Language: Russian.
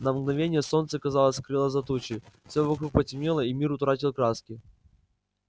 на мгновение солнце казалось скрылось за тучей всё вокруг потемнело и мир утратил краски